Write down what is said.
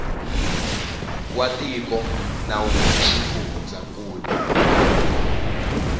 wa tiko na wa xifundzankulu